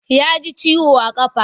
Ya ji ciwo a ƙafa.